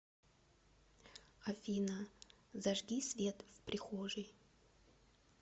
афина зажги свет в прихожей